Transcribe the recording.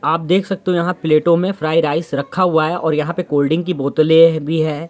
आप देख सकते हो यहाँ प्लेटो में फ्राई-राइस रखा हुआ है और यहाँ पे कोल्ड-ड्रिंक की बोतले भी है।